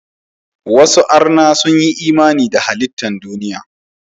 Wasu arna sun yi imani da halittan duniya.